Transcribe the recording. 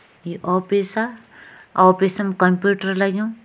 ये ऑफिसअ ऑफिसम कंप्यूटर लग्युं।